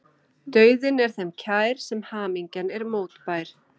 Dauðinn er þeim kær sem hamingjan er mótbær.